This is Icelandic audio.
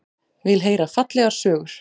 Vill heyra fallegar sögur.